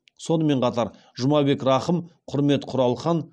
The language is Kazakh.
сонымен қатар жұмабек рахым құрмет құралхан